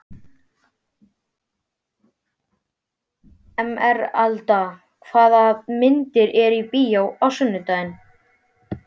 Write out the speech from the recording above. Emeralda, hvaða myndir eru í bíó á sunnudaginn?